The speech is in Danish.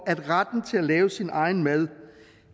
at retten til at lave sin egen mad